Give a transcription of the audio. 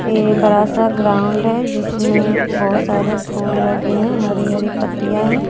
ये बड़ा सा ग्राउंड है जिसमे बहोत सारे फूल लगे है हरी हरी पत्तिया है।